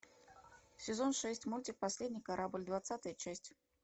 сезон шесть мультик последний корабль двадцатая часть